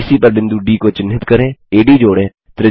BC पर बिंदु D को चिन्हित करें एडी जोड़ें